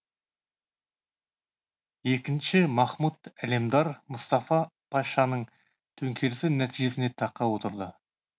екінші махмұт әлемдар мұстафа пашаның төңкерісі нәтижесінде таққа отырды